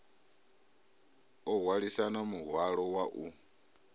o hwalisana muhwalo wa u